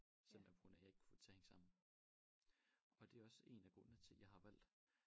Simpelthen på grund af jeg ikke kunne få det til at hænge sammen og det er også en af grundene til jeg har valgt